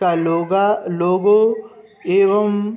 का लोगा लोगो एवं --